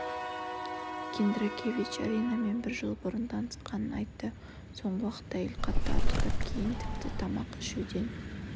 киндракевич аринамен бір жыл бұрын танысқанын айтты соңғы уақытта әйел қатты арықтап кейін тіпті тамақ ішуден